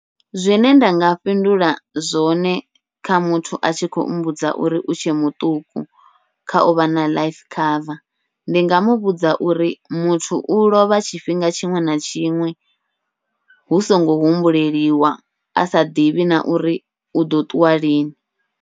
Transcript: Zwine nda nga fhindula zwone kha muthu a tshi khou mbudza uri u tshe muṱuku, kha uvha na life cover ndi nga muvhudza uri muthu u lovha tshifhinga tshiṅwe na tshiṅwe, hu songo humbuleliwa asa ḓivhi na uri uḓo ṱuwa lini.